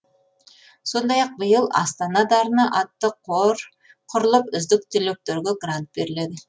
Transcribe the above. сондай ақ биыл астана дарыны атты қор құрылып үздік түлектерге грант беріледі